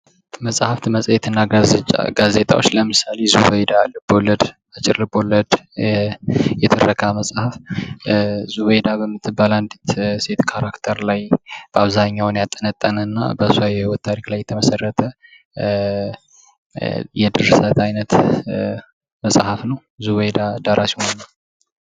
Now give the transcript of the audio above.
መጽሐፍት መፅሄትና ጋዜጣዎች ለምሳሌ ዙበይዳ አጭር ልቦለድ የትረካ መጽሐፍ፦ ዙበይዳ በምትባል አንዲት ካራክተር ላይ ያጠነጠነ እና በሷ የህይወት ታሪክ ላይ የተመሰረተ የድርሰት አይነት መጽሐፍ ነው። ዙበይዳ ደራሲው ማን ነው?